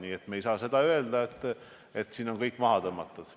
Nii et me ei saa öelda, et siin on kõik maha tõmmatud.